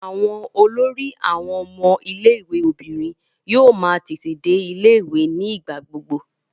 Àwọn olórí àwọn ọmọ ilé-ìwé obìnrin yóò máa tètè dé ilé-ìwé ní ìgbà gbogbo.